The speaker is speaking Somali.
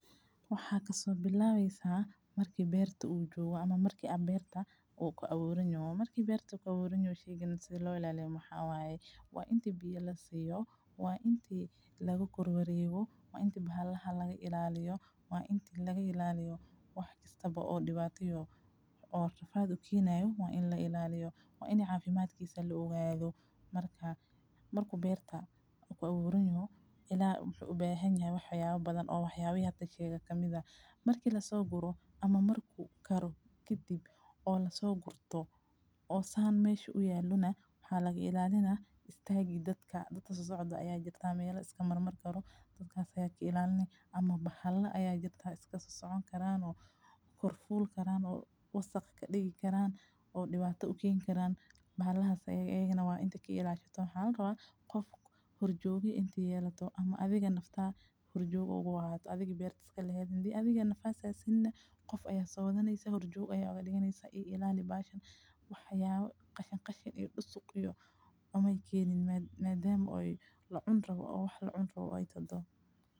Waxa ka sobilawaysa marki beerta u jooga ama markii ah beerta uu kaa uru yee. Markii beerta ka uru yee sheegi si loo ilaaliyay maxawaaye. Wa intii biyo la siiyo, waa intii lagu kordhwar yeebo? Waa inti bahalaha laga ilaaliyo? Waa intii laga ilaaliyo wax kasta oo dhibaatado oo rafaad u kiinayo waa in la ilaaliyo. Waa inay caafimaad kiisa looga iigaagoo markaa markuu beerta ku aqburanyu ilaa ubahay waaxooyin badan oo waxyaabo yada sheega ka mida markii la soo guro ama marku karo kitib oo la soo gurto oo saan meesho u yeelinaa waxaa laga ilaaliyaa inaad istaagi dadka data suocda ayaa jirta meelo iska marmar karo dadkaas ayay ka ilaaliney ama bahalla ayaa jirta iska socdo karaano kormoor karan oo wasakh dhigi karaan oo dhibaatada u kiin karaan. Bahalaha ayay na waan inta ki ilaa jirto hal raad qof horjuugi intii yeelato ama adiga nafta. Hurjoogo waad adiga beerta iska lahayd intii adiga nafta sinna qof ayaa saodanaysa hurjoogu ayuu dhigaynaysa ii ilaali baahan waxyaabo, kaashin kaashin iyo usoo kuyo uma keenin maadaama ay la cun rabo oo la cun rabo ay todo.